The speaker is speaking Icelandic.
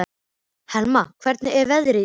Helma, hvernig er veðrið í dag?